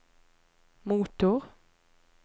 motor